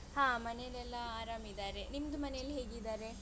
ಹಾ ಮನೆಯಲೆಲ್ಲ ಆರಾಮ್ ಇದ್ದಾರೆ, ನಿಮ್ದು ಮನೆಯಲ್ಲಿ ಹೇಗಿದ್ದಾರೆ?